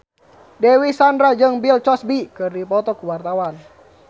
Dewi Sandra jeung Bill Cosby keur dipoto ku wartawan